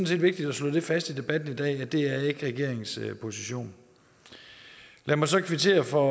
set vigtigt at slå fast i debatten i dag at det ikke er regeringens position lad mig så kvittere for at